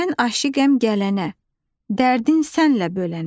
Mən aşiqəm gələnə, dərdin sənlə bölənə.